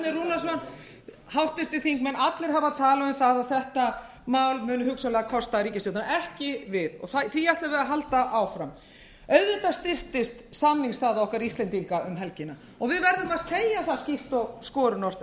þessir háttvirtir þingmenn hafa talað um að þetta mál munu hugsanlega kosta ríkisstjórnina ekki við og því ætlum við að halda áfram auðvitað styrktist samningsstaða okkar íslendinga um helgina og við verðum að segja það skýrt og skorinort